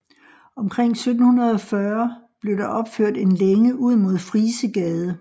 Omkring 1740 blev der opført en længe ud mod Frisegade